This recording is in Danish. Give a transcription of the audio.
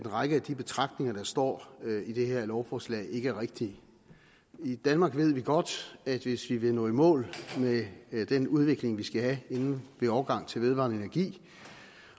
en række af de betragtninger der står i det her lovforslag ikke er rigtige i danmark ved vi godt at hvis vi vil nå i mål med den udvikling vi skal have inden en overgang til vedvarende energi